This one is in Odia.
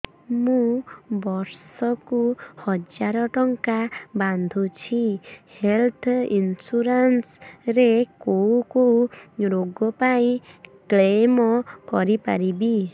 ମୁଁ ବର୍ଷ କୁ ହଜାର ଟଙ୍କା ବାନ୍ଧୁଛି ହେଲ୍ଥ ଇନ୍ସୁରାନ୍ସ ରେ କୋଉ କୋଉ ରୋଗ ପାଇଁ କ୍ଳେମ କରିପାରିବି